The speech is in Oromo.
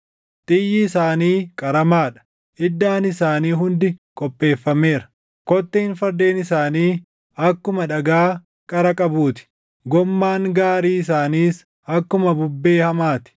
Xiyyi isaanii qaramaa dha; iddaan isaanii hundi qopheeffameera; kotteen fardeen isaanii akkuma dhagaa qara qabuu ti; gommaan gaarii isaaniis akkuma bubbee hamaa ti.